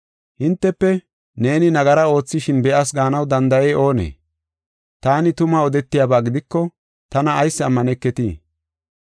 Hintefe, ‘Neeni nagara oothishin ta be7as’ gaanaw danda7ey oonee? Taani tuma odetiyaba gidiko tana ayis ammaneketii?